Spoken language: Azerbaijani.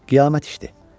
Qiyamət işdir.